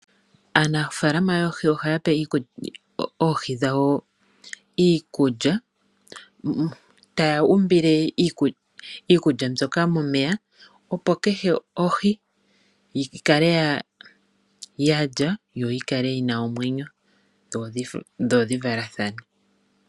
Aanafaalama yoohi oha yape oohi dhawo iikulya, ta ya u mbile iikulya mbyoka momeya opo kehe ohi yi kale yalya yo yikale yi na omwenyo dho dhi valathane.